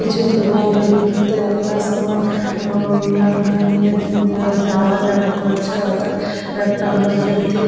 কিছুতে মালগাড়িতে আপনার সমান নিয়ে যাওয়া যাওয়া করছে অথাৎ একটা আমার জ্যোতি।